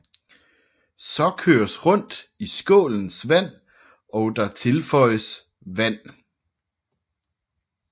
Så køres rundt i skålens vand og der tilføjes vand